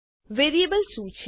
variable શું છે